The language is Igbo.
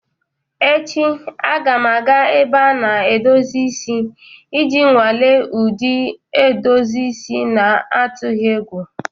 Echi, a ga m aga ebe a na-edozi isi iji nwalee ụdị edozi isi n'atụghị egwu.